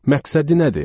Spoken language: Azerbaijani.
Məqsədi nədir?